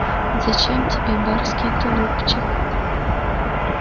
зачем тебе барский тулупчик